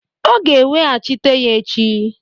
Ọ ga-eweghachita ya echi.